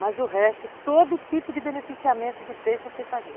Mas o resto, todo tipo de beneficiamento de peixe eu sei fazer.